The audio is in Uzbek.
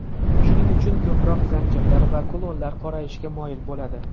Shuning uchun ko‘proq zanjirlar va kulonlar qorayishga moyil bo‘ladi.